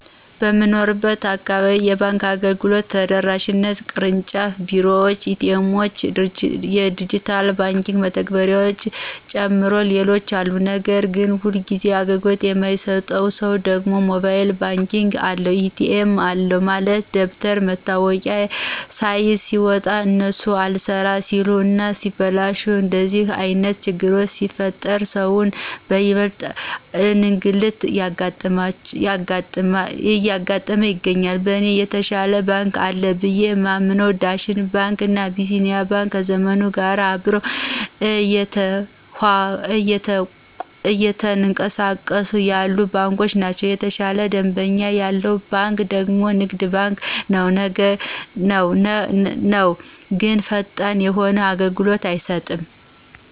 በምንኖርበት አካባቢ የባንክ አገልግሎቶች ተደራሽነታቸው የቅርጫፍ ቢሮዎች፣ ኤ.ቲ. ኤሞዎች፣ ድጅታል የባክ መተግበርያዎችን ጨምሮ ሌሎችም አሉ ነገር ግን ሁልጊዜ አገልግሎት አይሰጡም ሰው ደግሞ ሞባይል ባንክ አለ፣ ኤ.ቲ.ኤም አለ በማለት ደብተር መታወቂያ ስይዝ ሲወጣ እነሱ አልሰራ ሲል እና ሲበላሽ እንደዚህ አይነት ችግሮች ሲፈጠር ሰውን ይበልጥ እንግልት እየተጋለጠ ይገኛል። በእኔ የተሻለ ባንክ አለ ብየ የማምንው ዳሽን ባንክ እና አቢሲኒያ ባንክ ከዘመኑ ጋር አብረው እየተኅቀሳቀሱ ያሉ ባንኮች ናቸው። የተሻለ ደንበኛ ያለው ባንክ ደግሞ ንግድ ባንክ ነው ግን ፈጣን የሆነ አገልሎት አይሰጥም።